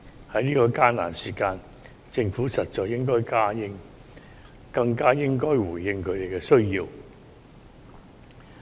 在這艱難時刻，政府實在更應回應他們的需要。